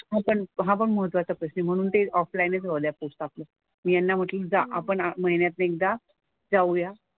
हा पण हा पण महत्त्वाचा प्रश्न आहे म्हणून ते ऑफलाईन च पोस्ट ऑफिस. मी यांना म्हंटलं आपण महिन्यातनं एकदा जाऊया.